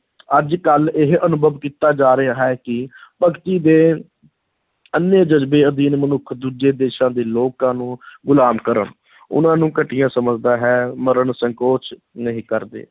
ਅੱਜ-ਕੱਲ੍ਹ ਇਹ ਅਨੁਭਵ ਕੀਤਾ ਜਾ ਰਿਹਾ ਹੈ ਕਿ ਭਗਤੀ ਦੇ ਅੰਨ੍ਹੇ ਜਜ਼ਬੇ ਅਧੀਨ ਮਨੁੱਖ ਦੂਜੇ ਦੇਸ਼ਾਂ ਦੇ ਲੋਕਾਂ ਨੂੰ ਗੁਲਾਮ ਕਰਨ ਉਨ੍ਹਾਂ ਨੂੰ ਘਟੀਆ ਸਮਝਦਾ ਹੈ, ਮਰਨ ਸੰਕੋਚ ਨਹੀਂ ਕਰਦੇ।